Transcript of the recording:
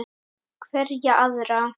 Hverja aðra?